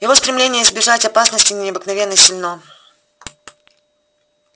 его стремление избежать опасности необыкновенно сильно